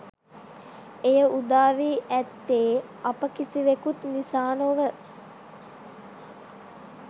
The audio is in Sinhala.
එය උදා වී ඇත්තේ අප කිසිවෙකුත් නිසා නොව